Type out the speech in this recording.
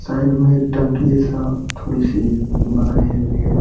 Side में एक टंकी जैसा थोड़ी-सी बनाए हुई है।